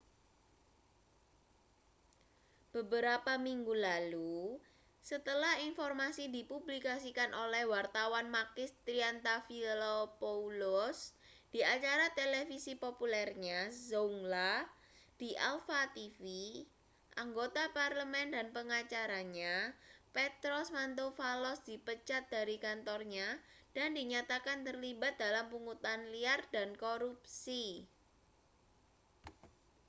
beberapa minggu lalu setelah informasi dipublikasikan oleh wartawan makis triantafylopoulos di acara televisi populernya zoungla di alpha tv anggota parlemen dan pengacaranya petros mantouvalos dipecat dari kantornya dan dinyatakan terlibat dalam pungutan liar dan korupsi